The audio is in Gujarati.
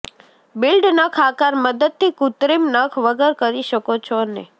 બિલ્ડ નખ આકાર મદદથી કૃત્રિમ નખ વગર કરી શકો છો અને